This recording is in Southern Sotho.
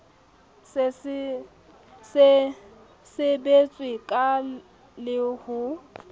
se sebetswe ka le ho